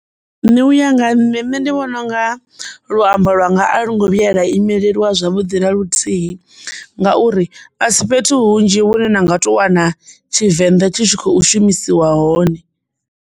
Nṋe uya nga ha nṋe, nṋe ndi vhona u nga luambo lwanga a lwo ngo vhuya lwa imelelwa zwavhuḓi na luthihi ngauri a si fhethu hunzhi vhune na nga tou wana Tshivenḓa tshi tshi khou shumisiwa hone.